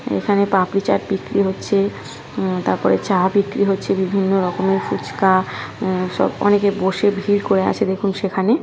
এখানে পাপরি চাট বিক্রি হচ্ছে তারপরে চা বিক্রি হচ্ছে বিভিন্ন রকমের ফুচকা আ সব অনেকে বসে ভিড় করে আছে দেখুন সেখানে ।